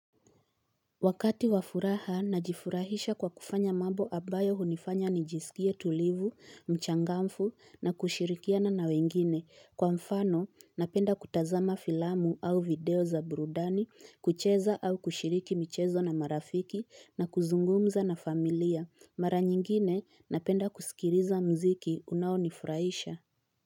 Wakati wafuraha najifurahisha kwa kufanya mambo abayo hunifanya nijisikie tulivu, mchangamfu na kushirikiana na wengine. Kwa mfano napenda kutazama filamu au video za burudani. Kucheza au kushiriki michezo na marafiki, na kuzungumza na familia. Mara nyingine napenda kusikiliza mziki unaonifurahisha.